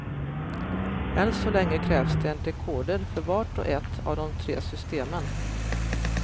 Än så länge krävs det en dekoder för vart och ett av de tre systemen.